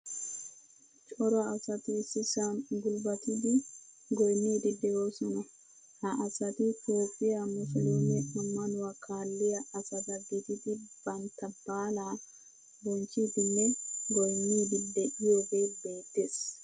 Cora asati issisan gulbatidi goynidi deosona. Ha asati toophphiyaa muslume ammanuwaa kaaliyaa asata gididi bantta baalaa bonchchidinne goynnidi deiyoge beettees.